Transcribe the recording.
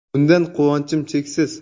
Bundan quvonchim cheksiz.